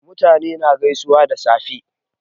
Mutane na gaisuwa da safe